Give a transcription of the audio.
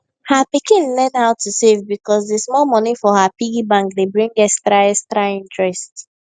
her pikin learn how to save because d small money for her piggy bank dey bring extra extra interest